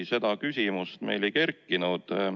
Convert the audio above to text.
Ei, seda küsimust meil ei kerkinud.